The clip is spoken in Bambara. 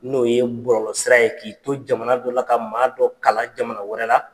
N'o ye bɔlɔlɔ sira ye. K'i to jamana dɔ la ka maa dɔ kala jamana wɛrɛ la.